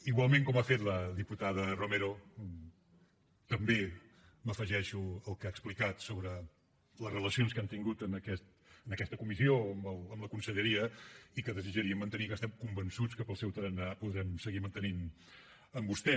igualment com ha fet la diputada romero també m’afegeixo al que ha explicat sobre les relacions que hem tingut en aquesta comissió amb la conselleria i que desitjaríem mantenir les que estem convençuts que pel seu tarannà podrem seguir mantenint les amb vostè